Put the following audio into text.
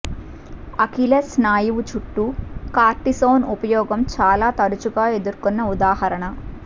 Achilles స్నాయువు చుట్టూ cortisone ఉపయోగం చాలా తరచుగా ఎదుర్కొన్న ఉదాహరణ